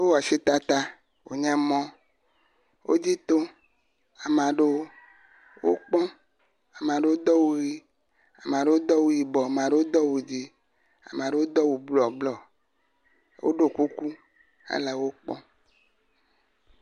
Wowɔ asi tata wonye mɔ, wodzi tom ame aɖewo wokpɔm, ame aɖewo do awu ʋi ame aɖewo do awu dzɛ̃, ame aɖewo do awu blɔblɔ woɖo kuku hele wo kpɔm.